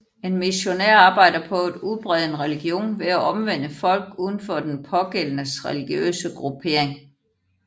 En missionær arbejder på at udbrede en religion ved at omvende folk uden for den pågældendes religiøse gruppering